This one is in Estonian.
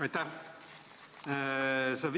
Aitäh!